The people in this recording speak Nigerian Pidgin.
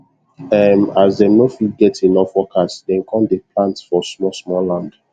um as them no fit get enough workers dem come dey plant for small small land